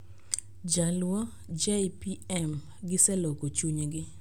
Jaluo, "J.P.M.: Giseloko chunygi".